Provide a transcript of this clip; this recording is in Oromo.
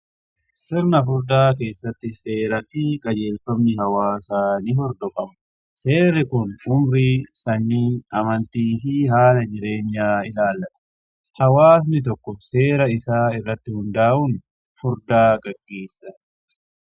Sirna fuudhaa keessatti seera fi qajeelfamni hawaasaa ni hordofama. Seerri kun umurii, sanyii, amantii fi haala jireenyaa ilaallata. Hawaasni tokko seera isaa irratti hundaa'uun hundaa geggeessa.